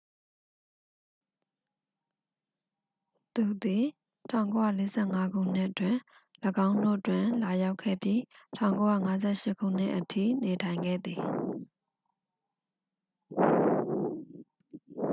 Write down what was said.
သူသည် 1945 ခုနှစ်တွင် ၎င်းတို့တွင် လာရောက်ခဲ့ပြီး 1958 ခုနှစ်အထိ နေထိုင်ခဲ့သည်